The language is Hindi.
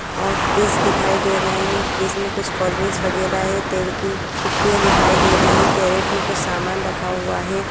और फ्रिज दिखाई दे रहें है जिसमें कुछ कोल्ड ड्रिंक वगैरा है तेल की कुपियाँ दिखाई दे रहीं है कैरेट में कुछ सामान रखा हुआ है।